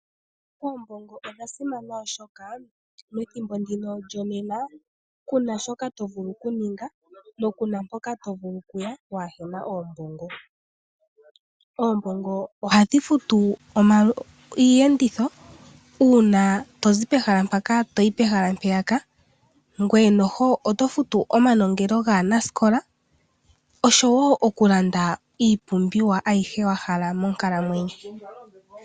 Oombongo odha simana oshoka methimbo ndika lyonena kuna shoka to vulu okuninga na kuna mpoka to vulu kuya waa hena oombongo. Oombongo ohadhi futu iiyenditho uuna tozi mpaka toyi pehala mpeyaka. Ngoye noho oto futu omanongelo gaanasikola osho wo okulanda iipumbiwa ayihe wa hala monkalamwenyo.